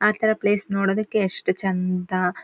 ಆ ತರ ಪ್ಲೇಸ್ ನೋಡೋದಕ್ಕೆ ಎಷ್ಟು ಚಂದಾ.